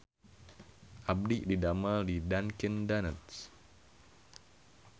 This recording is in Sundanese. Abdi didamel di Dunkin Donuts